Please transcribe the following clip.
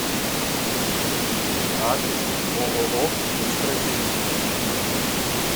адрес ооо быстроденьги